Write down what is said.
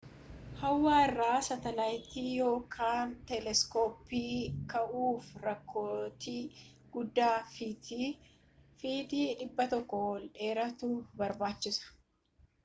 hawaa irra saatalaayitii yookiin teeleskooppii kaa'uuf rookeetii guddaa fitii 100 ol dheeratu barbaachisa